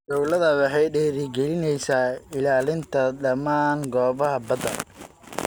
Dawladdu waxay dhiirigelinaysaa ilaalinta dhammaan goobaha badda.